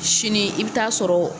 Sini i bɛ taa sɔrɔ